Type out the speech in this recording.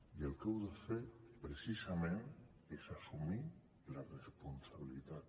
i el que heu de fer precisament és assumir la responsabilitat